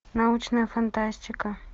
научная фантастика